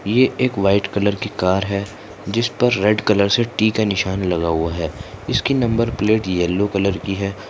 ये एक white colour की कार है जिसपर रेड कलर से टी का निशान लगा हुआ है इसकी नंबर प्लेट येल्लो कलर की है।